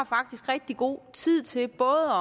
faktisk rigtig god tid til både